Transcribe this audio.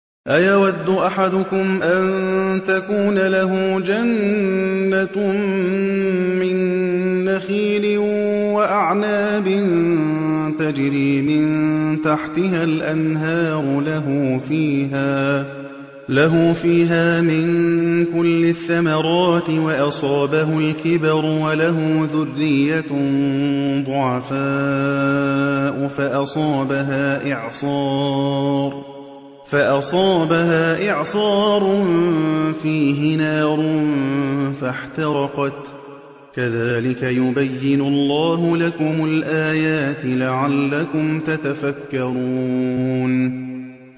أَيَوَدُّ أَحَدُكُمْ أَن تَكُونَ لَهُ جَنَّةٌ مِّن نَّخِيلٍ وَأَعْنَابٍ تَجْرِي مِن تَحْتِهَا الْأَنْهَارُ لَهُ فِيهَا مِن كُلِّ الثَّمَرَاتِ وَأَصَابَهُ الْكِبَرُ وَلَهُ ذُرِّيَّةٌ ضُعَفَاءُ فَأَصَابَهَا إِعْصَارٌ فِيهِ نَارٌ فَاحْتَرَقَتْ ۗ كَذَٰلِكَ يُبَيِّنُ اللَّهُ لَكُمُ الْآيَاتِ لَعَلَّكُمْ تَتَفَكَّرُونَ